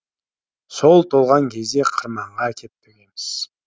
сол толған кезде қырманға әкеп төгеміз